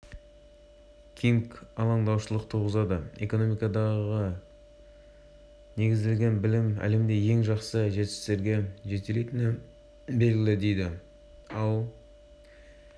қатарында гонконг макао тайвань жапония қытай оңтүстік корея бар ал үш пән бойынша жасалған бес